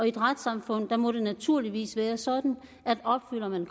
et retssamfund må det naturligvis være sådan at opfylder man